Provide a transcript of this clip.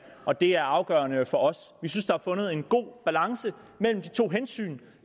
og det er afgørende for os vi synes at der er fundet en god balance mellem de to hensyn